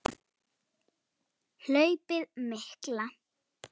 Hlaupið mikla